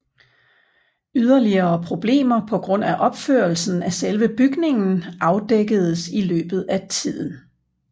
Yderligere problemer på grund af opførelsen af selve bygningen afdækkedes i løbet af tiden